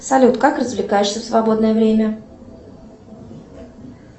салют как развлекаешься в свободное время